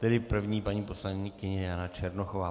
Tedy první paní poslankyně Jana Černochová.